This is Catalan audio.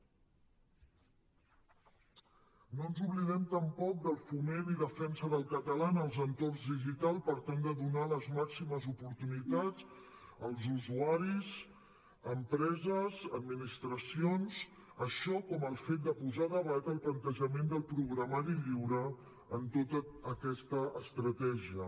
no ens oblidem tampoc del foment i defensa del català en els entorns digitals per tal de donar les màximes oportunitats als usuaris empreses administracions així com el fet de posar a debat el plantejament del programari lliure en tota aquesta estratègia